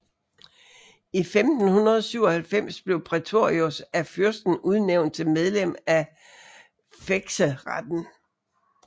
I 1597 blev Praetorius af fyrsten udnævnt til medlem af fekseretten